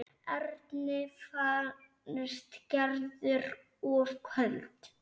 Erni fannst Gerður of köld.